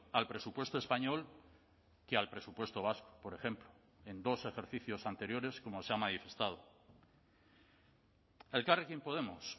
al presupuesto español que al presupuesto vasco por ejemplo en dos ejercicios anteriores como se ha manifestado elkarrekin podemos